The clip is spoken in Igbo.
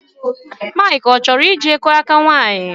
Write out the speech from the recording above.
Mark achoro ije kuo aka nwannyi?